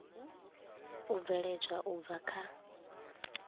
u bveledzwa u bva kha